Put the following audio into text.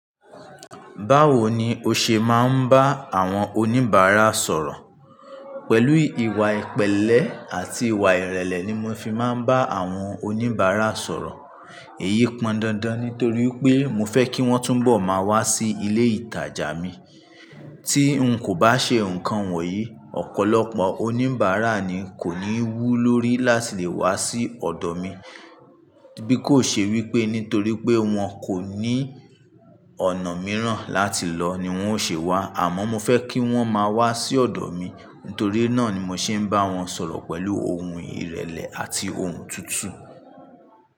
Báwo ni o ṣe máa ń bá àwọn oníbàárà sọ̀rọ̀? Pẹ̀lú ìwà ìpẹ̀lẹ́ àti ìwà ìrẹ̀lẹ̀ ni mo fi máa ń bá àwọn oníbàárà sọ̀rọ̀. Èyí pọn dandan nítorí pé mo fẹ́ kí wọ́n túnbọ̀ máa wá sí ilé ìtajà mi. Tí n kò bá ṣe nǹkan wọ̀nyí, ọ̀pọ̀lọpọ̀ oníbàárà ni kò ní wú lórí láti lè wá sí ọ̀dọ̀ mi. Bí kò ṣe wípé nítorí pé wọ́n kò ní ọ̀nà mìíràn láti lọ ni wọ́n ó ṣe wá, àmọ́ mo fẹ́ kí wọ́n máa wá sí ọ̀dọ̀ mi. Nítorí náà ni mo ṣe ń bá wọn sọ̀rọ̀ pẹ̀lú ohùn ìrẹ̀lẹ̀ àti ohùn tutu.